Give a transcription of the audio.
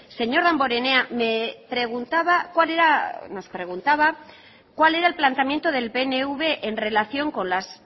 señor damborenea me preguntaba cuál era nos preguntaba cuál era el planteamiento del pnv en relación con las